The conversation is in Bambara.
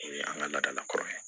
O ye an ka laadalakɔrɔ ye